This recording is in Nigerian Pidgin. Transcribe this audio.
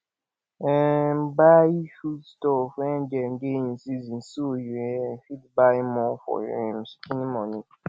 um buy food stuff when dem dey in season so you um fit by more for um shikini money